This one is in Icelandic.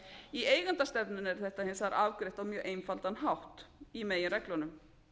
í eigendastefnunni er þetta hins vegar afgreitt á mjög einfaldan hátt í meginreglunum